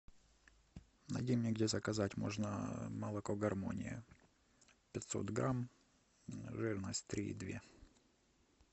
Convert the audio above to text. найди мне где заказать можно молоко гармония пятьсот грамм жирность три и две